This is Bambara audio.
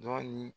Dɔɔnin